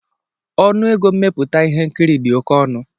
Ọnụ ego mmepụta ihe nkiri dị oke ọnụ.